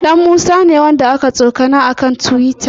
Ɗanmusa ne wanda aka tsokana a kan tiwita.